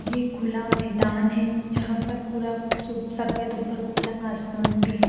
ये खुला मैदान है जहाँ पर पूरा ऊपर खुला आसमान भी है।